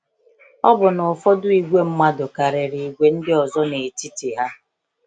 Ọ̀ bụ na ụfọdụ ìgwè mmadụ karịrị ìgwè ndị ọzọ n’etiti ha?